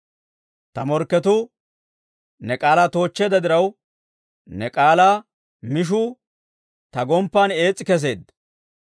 Ta morkketuu ne k'aalaa toochcheedda diraw, ne k'aalaa mishuu ta gomppan ees's'i keseedda.